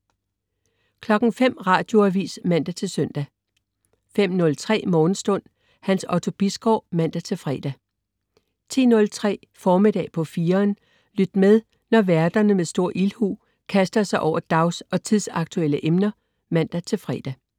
05.00 Radioavis (man-søn) 05.03 Morgenstund. Hans Otto Bisgaard (man-fre) 10.03 Formiddag på 4'eren. Lyt med, når værterne med stor ildhu kaster sig over dags- og tidsaktuelle emner (man-fre)